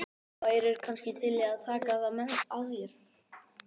Þú værir kannski til í að taka það að þér?